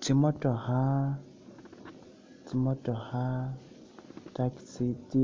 Tsi motookha tsi motookha taxi tse